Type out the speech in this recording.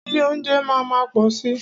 Ilé óúnjẹ máa má pọ̀ si.